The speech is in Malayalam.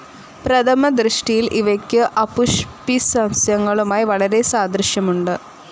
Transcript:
പ്രഥമ ദൃഷ്ടിയിൽ ഇവയ്ക്കു അപുഷ്പിസസ്യങ്ങളുമായി വളരെ സാദൃശ്യമുണ്ട്.